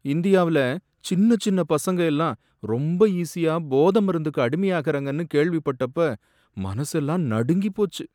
இந்தியாவுல சின்னச் சின்ன பசங்க எல்லாம் ரொம்ப ஈசியா போதை மருந்துக்கு அடிமையாகுறாங்கன்னு கேள்விப்பட்டப்ப மனசெல்லாம் நடுங்கிப் போச்சு